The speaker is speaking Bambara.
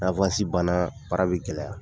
Ni banna baara bɛ gɛlɛya.